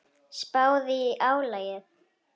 Spáðu í álagið.